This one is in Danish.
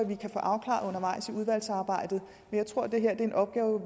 vi kan få afklaret undervejs i udvalgsarbejdet jeg tror at det her er en opgave